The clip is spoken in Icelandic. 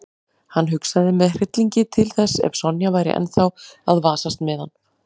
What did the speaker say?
Hann hugsaði með hryllingi til þess ef Sonja væri ennþá að vasast með hann.